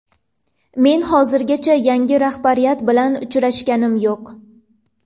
Men hozirgacha yangi rahbariyat bilan uchrashganim yo‘q.